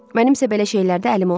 Mənim isə belə şeylərdə əlim olmayıb.